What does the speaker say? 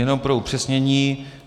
Jen pro upřesnění.